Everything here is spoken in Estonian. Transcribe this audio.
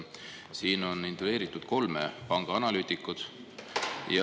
Siin on intervjueeritud kolme pangaanalüütikut.